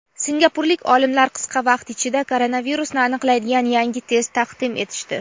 Singapurlik olimlar qisqa vaqt ichida koronavirusni aniqlaydigan yangi test taqdim etishdi.